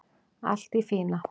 Allt í fína